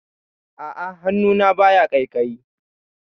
A'a, hannuna baya ƙaiƙayi.